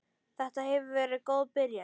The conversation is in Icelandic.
Þetta hefur verið góð byrjun.